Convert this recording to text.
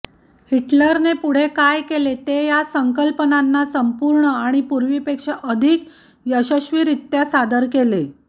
हिटलरने पुढे काय केले ते या संकल्पनांना संपूर्ण आणि पूर्वीपेक्षा अधिक यशस्वीरित्या सादर केले